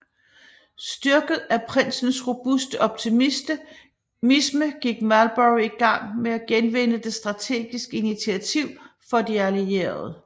Styrket af prinsens robuste optimisme gik Marlborough i gang med at genvinde det strategiske initiativ for de allierede